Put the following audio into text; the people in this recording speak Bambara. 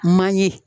Manje